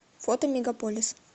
фото мегаполис